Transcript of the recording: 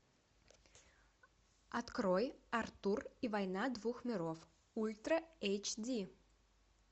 открой артур и война двух миров ультра эйч ди